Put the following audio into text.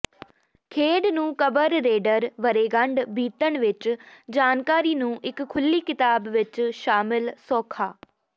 ਖੇਡ ਨੂੰ ਕਬਰ ਰੇਡਰ ਵਰ੍ਹੇਗੰਢ ਬੀਤਣ ਵਿੱਚ ਜਾਣਕਾਰੀ ਨੂੰ ਇਕ ਖੁੱਲ੍ਹੀ ਕਿਤਾਬ ਵਿੱਚ ਸ਼ਾਮਿਲ ਸੌਖਾ